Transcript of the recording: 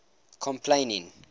complaining